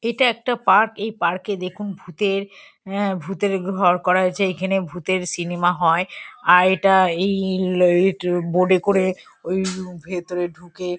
এটা একটা পার্ক এই পার্ক -এ দেখুন ভূতের অ্যা ভূতের ঘর করা হয়েছে। এইখানে ভূতের সিনেমা হয়। আর এটা বোর্ড -এ করে ওই ভেতরে ঢুকে--